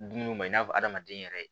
Dumuniw ma i n'a fɔ adamaden yɛrɛ